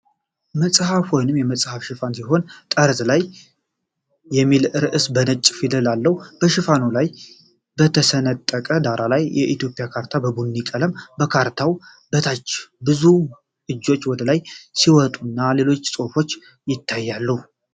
መጽሐፍ ወይም መጽሔት ሽፋን ሲሆን "ጠርዝ ላይ" የሚል ርዕስ በነጭ ፊደል አለው። በሽፋኑ ላይ በተሰነጠቀ ዳራ ላይ የኢትዮጵያ ካርታ በቡኒ ቀለም ። ከካርታው በታች ብዙ እጆች ወደ ላይ ሲወጡና ሌሎችም ጽሁፎች ይታያሉ።